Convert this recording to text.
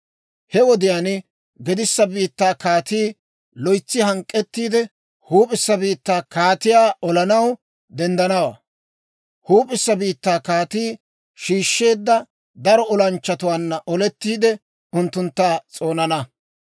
He wodiyaan gedissa biittaa kaatii loytsi hank'k'ettiide, huup'issa biittaa kaatiyaa olanaw denddanawaa. Huup'issa biittaa kaatii shiishsheedda daro olanchchatuwaanna olettiide, unttuntta s'oonana.